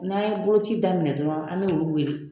N'an ye boloci daminɛ dɔrɔn an b'olu wele